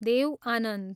Dev Anand